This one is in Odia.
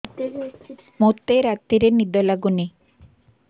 ମୋତେ ରାତିରେ ନିଦ ଲାଗୁନି